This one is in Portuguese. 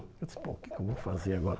Eu disse, bom, o que que eu vou fazer agora?